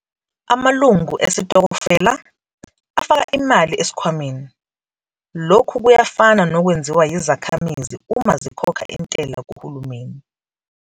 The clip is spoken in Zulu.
Amalungu esitokofela 'afaka imali esikhwameni', lokhu kuyafana nokwenziwa yizakhamizi uma zikhokha intela kuhulumeni.